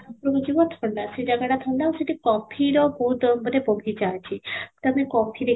ରହୁଛି ବହୁତ ଥଣ୍ଡା ସେ ଜାଗା ବହୁତ ଥଣ୍ଡା ଆଉ ସେଠି କଫିର ବହୁତ ମାନେ ବଗିଚା ଅଛି ତୋମେ କଫି